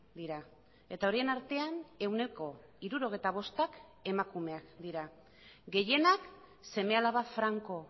dira eta horien artean ehuneko hirurogeita bostak emakumeak dira gehienak seme alaba franko